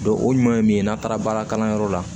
o ɲuman ye min ye n'a taara baara kalanyɔrɔ la